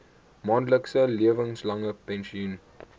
maandelikse lewenslange pensioen